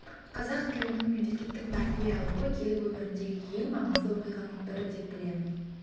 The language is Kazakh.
қазақ тілінің мемлекеттік мәртебе алуы ел өміріндегі ең маңызды оқиғаның бірі деп білемін